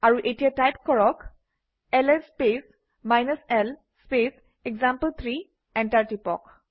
আৰু এতিয়া টাইপ কৰক - LS space l space example three enter টিপক